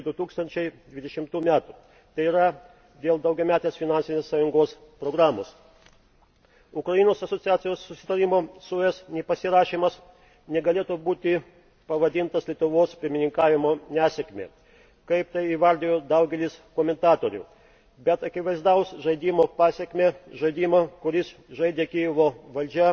iki 2020 m., t. y. dėl Sąjungos daugiametės finansinės programos. Ukrainos asociacijos susitarimo su ES nepasirašymas negalėtų būti pavadintas Lietuvos pirmininkavimo nesėkme, kaip tai įvardijo daugelis komentatorių, bet akivaizdaus žaidimo pasekme, žaidimo, kurį žaidė Kijevo valdžia